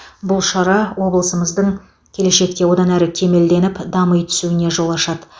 бұл шара облысымыздың келешекте одан әрі кемелденіп дами түсуіне жол ашады